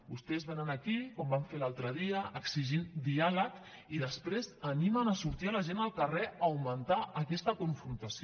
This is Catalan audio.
vostès venen aquí com van fer l’altre dia exigint diàleg i després animen a sortir a la gent al carrer a augmentar aquesta confrontació